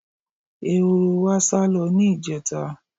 Ehoro wa sálo̩ ní ìje̩ta.